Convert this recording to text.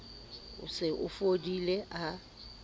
o se o fodile a